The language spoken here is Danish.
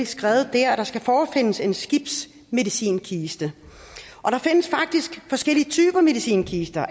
skrevet der at der skal forefindes en skibsmedicinkiste og der findes faktisk forskellige typer medicinkister